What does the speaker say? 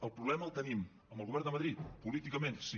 el problema el tenim amb el govern de madrid políticament sí